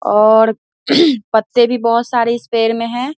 और पत्ते भी बहुत सारे इस पेड़ में है ।